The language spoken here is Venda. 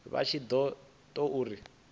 vha tshi ṱo ḓa uri